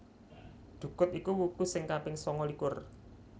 Dhukut iku wuku sing kaping sangalikur